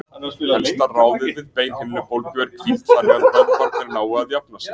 Helsta ráðið við beinhimnubólgu er hvíld þannig að vöðvarnir nái að jafna sig.